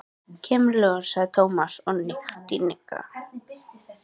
Kemur í ljós, sagði Tómas og hnippti í Nikka.